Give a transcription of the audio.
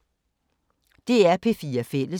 DR P4 Fælles